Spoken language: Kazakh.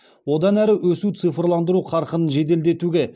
одан әрі өсу цифрландыру қарқынын жеделдетуге